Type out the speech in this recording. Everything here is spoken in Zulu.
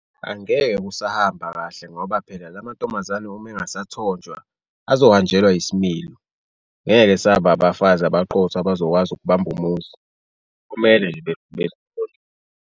Angeke kusahamba kahle ngoba phela la mantombazane uma engasathonjwa azohanjelwa isimilo, ngeke esaba abafazi abaqotho abazokwazi ukubamba umuzi, kumele nje .